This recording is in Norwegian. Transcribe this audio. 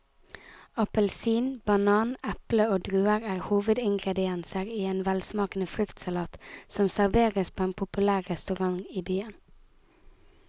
Appelsin, banan, eple og druer er hovedingredienser i en velsmakende fruktsalat som serveres på en populær restaurant i byen.